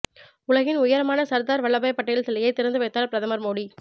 உலகின் உயரமான சர்தார் வல்லபாய் பட்டேல் சிலையை திறந்து வைத்தார் பிரதமர் மோடி